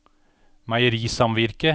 meierisamvirket